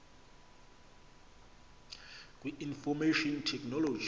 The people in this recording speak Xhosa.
kwi information technology